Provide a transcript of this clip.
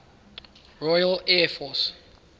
royal air force